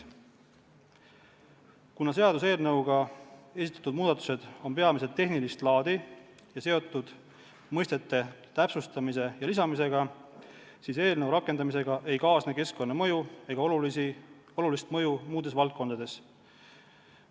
Kuna eelnõuga esitatud muudatused on peamiselt tehnilist laadi ja seotud mõistete täpsustamise ja lisamisega, siis eelnõu rakendamisega ei kaasne keskkonnamõju ega olulist mõju muudes valdkondades.